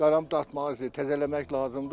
Daran dartmaq, təzələmək lazımdır.